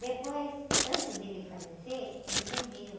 Depois, antes dele falecer, ele vendeu.